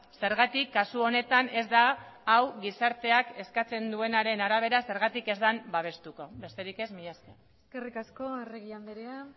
zergatik kasu honetan ez da hau gizarteak eskatzen duenaren arabera zergatik ez dan babestuko besterik ez mila esker eskerrik asko arregi andrea